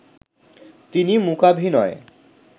তিনি মূকাভিনয়ে